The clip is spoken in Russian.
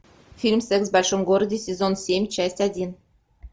фильм секс в большом городе сезон семь часть один